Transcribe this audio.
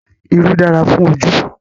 Irú dára fún ojú